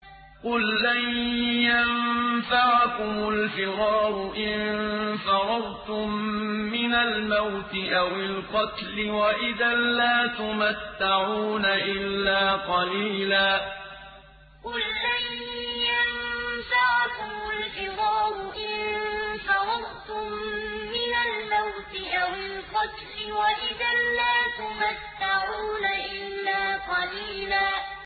قُل لَّن يَنفَعَكُمُ الْفِرَارُ إِن فَرَرْتُم مِّنَ الْمَوْتِ أَوِ الْقَتْلِ وَإِذًا لَّا تُمَتَّعُونَ إِلَّا قَلِيلًا قُل لَّن يَنفَعَكُمُ الْفِرَارُ إِن فَرَرْتُم مِّنَ الْمَوْتِ أَوِ الْقَتْلِ وَإِذًا لَّا تُمَتَّعُونَ إِلَّا قَلِيلًا